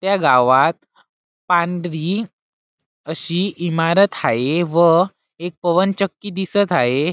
त्या गावात पांढरी अशी इमारत हाये व एक पवनचक्की दिसत हाये.